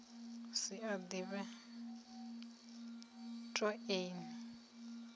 si a ḓivhe toe ni